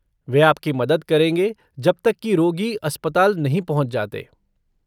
वे आपकी मदद करेंगे जब तक कि रोगी अस्पताल नहीं पहुँच जाते।